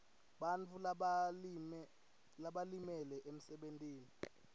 bantfu labalimele emsebentini